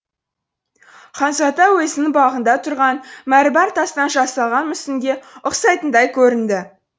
ханзада өзінің бағында тұрған мәрмәр тастан жасалған мүсінге ұқсайтындай көрінді